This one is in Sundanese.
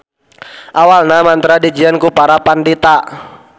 Awalna mantra dijieun ku para pandita.